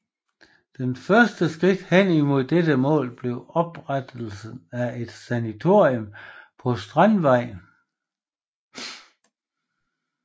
Det første skridt hen imod dette mål blev oprettelsen af et sanatorium på Strandvejen